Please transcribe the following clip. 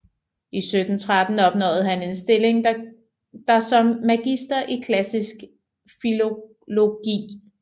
I 1713 opnåede han en stilling der som magister i klassisk filologi